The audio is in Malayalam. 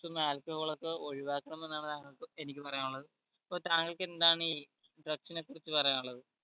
ഉം alcohol ഒക്കെ ഒഴിവാക്കണം എന്നാണ് താങ്കൾക്കും എനിക്കും പറയാനുള്ളത് അപ്പൊ താങ്കൾക്ക് എന്താണീ drugs നെ കുറിച്ച് പറയാനുള്ളത്